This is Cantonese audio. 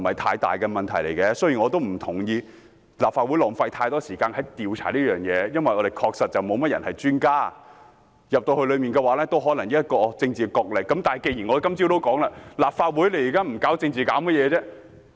雖然我不同意立法會在調查方面浪費太多時間，因為立法會議員中確實沒有這方面的專家，調查委員會可能只是政治角力場，但正如大家今天早上所說，立法會現在不搞政治還可以搞甚麼？